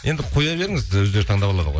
енді қоя беріңіз өздері таңдап алады ғой